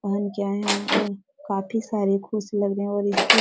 पहन के आए है और काफी सारे खुश लग रहे है और इसकी --